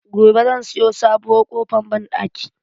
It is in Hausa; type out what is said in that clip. Gobe zan sayo sabuwar ƙofar banɗaki.